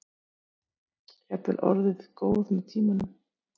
Jafnvel orðið góð með tímanum.